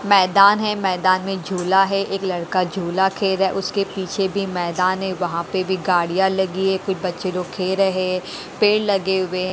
मैदान है मैदान में झूला है एक लड़का झूला खेल रहा है उसके पीछे बी मैदान है वहाँ पे भी गाड़ियाँ लगी है कुछ बच्चे लोग खेल रहें हैं पेड़ लगे हुए हैं।